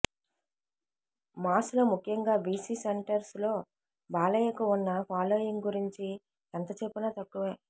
Maslow ముఖ్యంగా BC సెంటర్స్లో బాలయ్యకు ఉన్న ఫాలోయింగ్ గురించి ఎంత చెప్పినా తక్కువే